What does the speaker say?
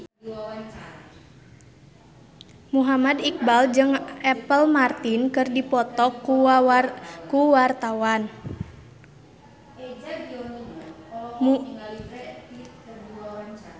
Muhammad Iqbal jeung Apple Martin keur dipoto ku wartawan